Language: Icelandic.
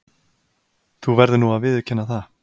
Þú verður nú að viðurkenna það.